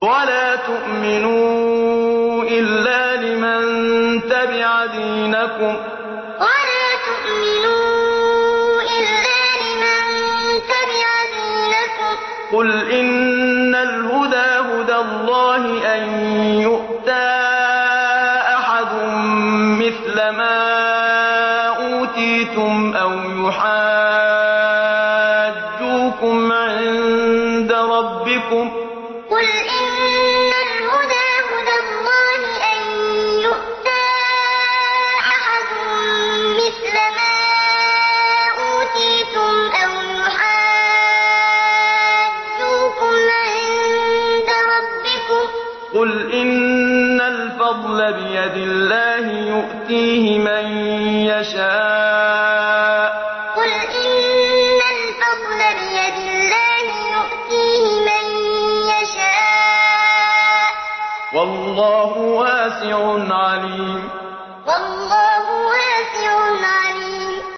وَلَا تُؤْمِنُوا إِلَّا لِمَن تَبِعَ دِينَكُمْ قُلْ إِنَّ الْهُدَىٰ هُدَى اللَّهِ أَن يُؤْتَىٰ أَحَدٌ مِّثْلَ مَا أُوتِيتُمْ أَوْ يُحَاجُّوكُمْ عِندَ رَبِّكُمْ ۗ قُلْ إِنَّ الْفَضْلَ بِيَدِ اللَّهِ يُؤْتِيهِ مَن يَشَاءُ ۗ وَاللَّهُ وَاسِعٌ عَلِيمٌ وَلَا تُؤْمِنُوا إِلَّا لِمَن تَبِعَ دِينَكُمْ قُلْ إِنَّ الْهُدَىٰ هُدَى اللَّهِ أَن يُؤْتَىٰ أَحَدٌ مِّثْلَ مَا أُوتِيتُمْ أَوْ يُحَاجُّوكُمْ عِندَ رَبِّكُمْ ۗ قُلْ إِنَّ الْفَضْلَ بِيَدِ اللَّهِ يُؤْتِيهِ مَن يَشَاءُ ۗ وَاللَّهُ وَاسِعٌ عَلِيمٌ